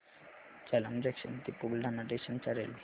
Jalamb junction ते Buldhana station च्या railway